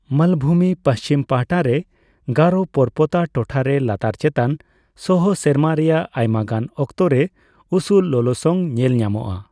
ᱢᱟᱞᱵᱷᱩᱢᱤ ᱯᱩᱪᱷᱤᱢ ᱯᱟᱦᱟᱴᱟ ᱨᱮ, ᱜᱟᱨᱳ ᱯᱚᱨᱯᱚᱛᱟ ᱴᱚᱴᱷᱟ ᱨᱮ ᱞᱟᱛᱟᱨ ᱪᱮᱛᱟᱱ ᱥᱚᱦᱚᱸ, ᱥᱮᱨᱢᱟ ᱨᱮᱭᱟᱜ ᱟᱭᱢᱟᱜᱟᱱ ᱚᱠᱛᱚ ᱨᱮ ᱩᱥᱩᱞ ᱞᱚᱞᱚᱥᱚᱝ ᱧᱮᱞ ᱧᱟᱢᱚᱜᱼᱟ ᱾